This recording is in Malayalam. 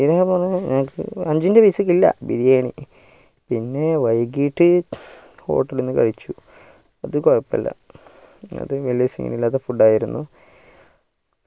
ഏർ അഞ്ചിൻ്റെ പൈസക്കില ബിരിയാണി പിന്നെ വൈകിട്ട് hotel നിന്ന് കഴിച്ചു അത് കൊഴുപ്പല്ല അത് വലിയ scene ഇല്ലാത്ത food ആയിരുന്നു